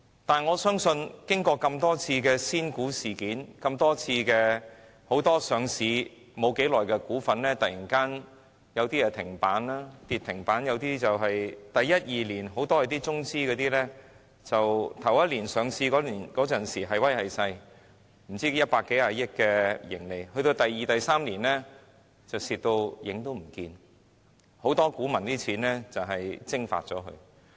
但是，我相信，在經過多次仙股事件，以及很多上市不久的股份突然跌至停板，一些中資公司在首年上市時"係威係勢"，甚至有百多億元的盈利，但到了第二年或第三年便虧損嚴重後，不少股民的金錢都被蒸發了。